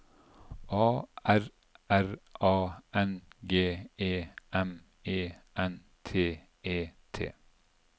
A R R A N G E M E N T E T